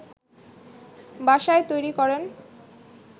বাসায় তৈরি করেন